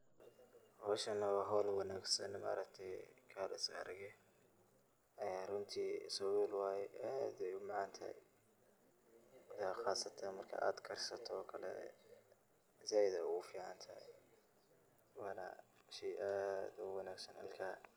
Howshan wa howl wanagsan maaragte oo kale iskarag aha ee runti sabul waye aad ayey umacantahay qasatan marka ad karsato oo kale zaid ayey ufucntahay wana shey aad ogumuhiimsan ilkaha.